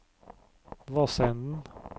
Vassenden